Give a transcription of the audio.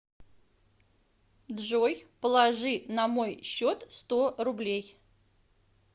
джой положи на мой счет сто рублей